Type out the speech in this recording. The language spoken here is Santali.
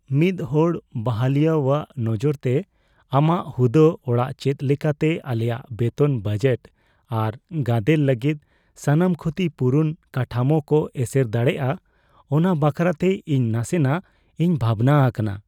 ᱢᱤᱫᱦᱚᱲ ᱵᱟᱦᱟᱞᱤᱭᱟᱹᱣᱟᱜ ᱱᱚᱡᱚᱨᱛᱮ, ᱟᱢᱟᱜ ᱦᱩᱫᱟᱹ ᱟᱲᱟᱜ ᱪᱮᱫ ᱞᱮᱠᱟᱛᱮ ᱟᱞᱮᱭᱟᱜ ᱵᱮᱛᱚᱱ ᱵᱟᱡᱮᱴ ᱟᱨ ᱜᱟᱫᱮᱞ ᱞᱟᱹᱜᱤᱫ ᱥᱟᱱᱟᱢ ᱠᱷᱩᱛᱤ ᱯᱩᱨᱩᱱ ᱠᱟᱴᱷᱟᱢᱳ ᱠᱚ ᱮᱥᱮᱨ ᱫᱟᱲᱮᱭᱟᱜᱼᱟ ᱚᱱᱟ ᱵᱟᱠᱷᱨᱟᱛᱮ ᱤᱧ ᱱᱟᱥᱮᱱᱟᱜᱼᱤᱧ ᱵᱷᱟᱵᱽᱱᱟ ᱟᱠᱟᱱᱟ ᱾